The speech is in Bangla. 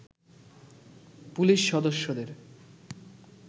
পুলিশ সদস্যদের